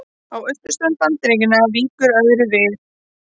Á austurströnd Bandaríkjanna víkur öðru við.